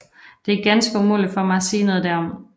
Det er ganske umuligt for mig at sige noget derom